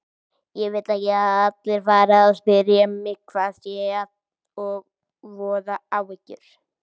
Ég vil ekki að allir fari að spyrja mig hvað sé að og voða áhyggjur.